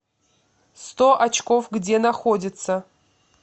сто очков где находится